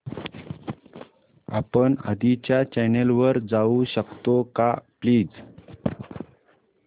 आपण आधीच्या चॅनल वर जाऊ शकतो का प्लीज